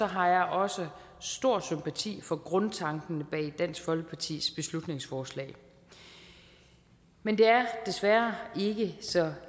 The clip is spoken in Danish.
har jeg også stor sympati for grundtanken bag dansk folkepartis beslutningsforslag men det er desværre ikke så